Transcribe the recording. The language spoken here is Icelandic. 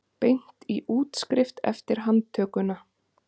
Beint í útskrift eftir handtökuna